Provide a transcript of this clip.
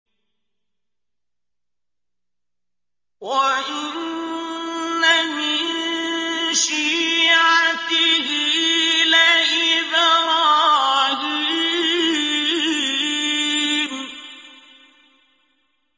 ۞ وَإِنَّ مِن شِيعَتِهِ لَإِبْرَاهِيمَ